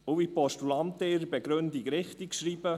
Und wie die Postulanten in ihrer Begründung richtig schreiben: